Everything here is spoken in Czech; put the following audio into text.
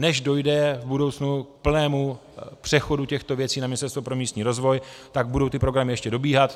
Než dojde v budoucnu k plnému přechodu těchto věcí na Ministerstvo pro místní rozvoj, tak budou ty programy ještě dobíhat.